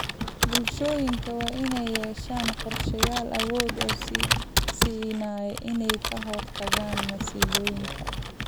Bulshooyinka waa inay yeeshaan qorshayaal awood u siinaya inay ka hortagaan masiibooyinka.